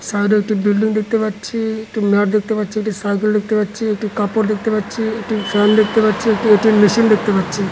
Side একটি building দেখতে পাচ্ছি | একটি দেখতে পাচ্ছি | একটি সাইকেল দেখতে পাচ্ছি | একটি কাপড় দেখতে পাচ্ছি | একটি ফ্যান দেখতে পাচ্ছি | একটা এ.টি.এম মেশিন দেখতে পাচ্ছি।